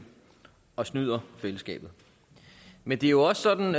og snyder fællesskabet men det er jo også sådan